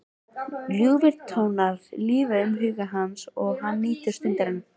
Ljúfir tónar líða um huga hans og hann nýtur stundarinnar.